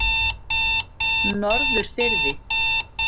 Norðurfirði